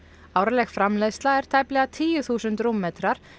árleg framleiðsla er tæplega tíu þúsund rúmmetrar